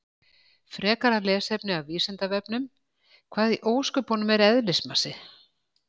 Frekara lesefni af Vísindavefnum: Hvað í ósköpunum er eðlismassi?